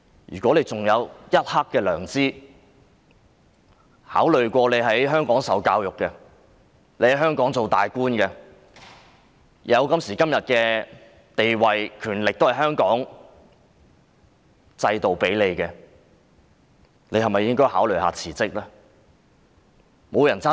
如果她還有一點良知，考慮到自己是在香港受教育、當高官，她有今時今日的地位和權力也是拜香港制度所賜，她應否考慮辭職？